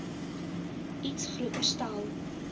iets groter stel